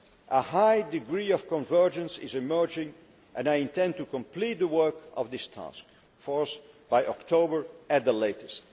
A high degree of convergence is already emerging and I intend to complete the work of this task force by October at the latest.